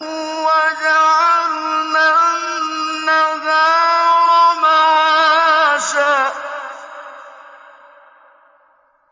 وَجَعَلْنَا النَّهَارَ مَعَاشًا